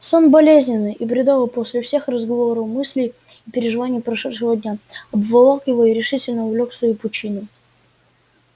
сон болезненный и бредовый после всех разговоров мыслей и переживаний прошедшего дня обволок его и решительно увлёк в свою пучину